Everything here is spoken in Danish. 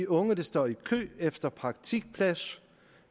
unge der står i kø efter en praktikplads